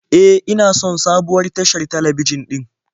E, ina son sabuwar tashar talabijin din